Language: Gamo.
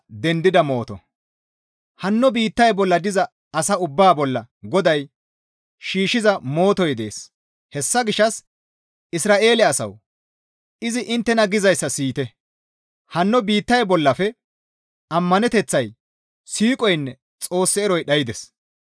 Hanno biittay bolla diza asa ubbaa bolla GODAY shiishshiza mootoy dees. Hessa gishshas Isra7eele asawu! Izi inttena gizayssa siyite; «Hanno biittay bollafe ammaneteththay, siiqoynne Xoos eroy dhaydes.